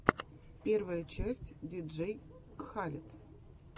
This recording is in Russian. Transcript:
первая часть диджей кхалед